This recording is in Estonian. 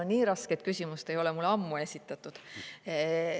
No nii rasket küsimust ei ole mulle ammu esitatud.